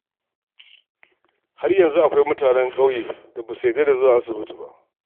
Har yanzu akwai mutanen ƙauyen da ba su yarda da zuwa asibiti ba.